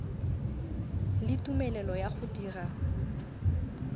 le tumelelo ya go dira